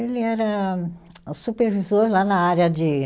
Ele era supervisor lá na área de